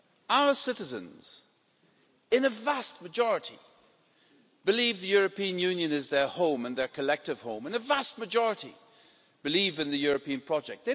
Our citizens, in a vast majority, believe the European Union is their home and their collective home, and a vast majority believe in the European project.